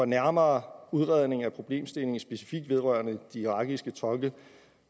nærmere udredning af problemstillingen specifikt vedrørende de irakiske tolke